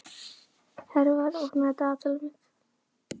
Hervar, opnaðu dagatalið mitt.